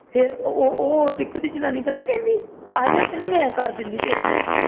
ਫੇਰ ਉਹ ਉਹ ਟੀਕੂ ਦੀ ਜਨਾਨੀ ਪਤਾ ਕੀ ਕਰਦੀ ਆਜਾ ਮੈਂ ਕਰ ਦੇਣੀਆਂ ਤੇਰੇ